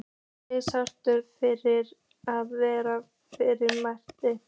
Leið sálarkvalir fyrir að vera faðir minn.